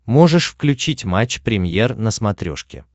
можешь включить матч премьер на смотрешке